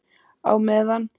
Á meðan